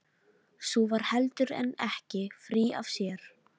Sú var heldur en ekki frí af sér!